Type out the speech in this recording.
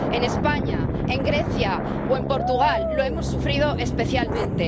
En España, en Grecia o en Portugal lo hemos sufrido especialmente.